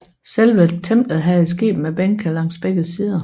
Selve templet havde et skib med bænke langs begge sider